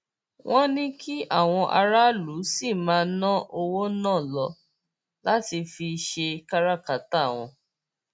wọn ní kí àwọn aráàlú sì máa ná owó náà lò láti fi ṣe káràkátà wọn